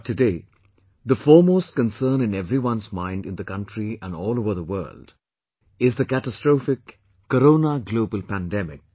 But today, the foremost concern in everyone's mind in the country and all over the world is the catastrophic Corona Global Pandemic